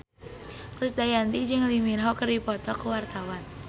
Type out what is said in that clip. Krisdayanti jeung Lee Min Ho keur dipoto ku wartawan